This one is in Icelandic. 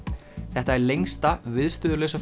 þetta er lengsta